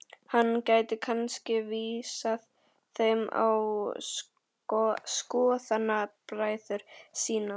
Hann gæti kannski vísað þeim á skoðanabræður sína.